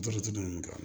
Juru tɛ dumuni kɛ